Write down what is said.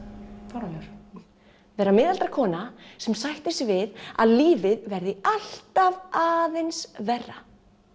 fáránlegur vera miðaldra kona sem sættir sig við að lífið verði alltaf aðeins verra